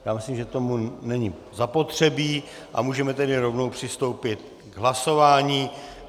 Já myslím, že tomu není zapotřebí, a můžeme tedy rovnou přistoupit k hlasování.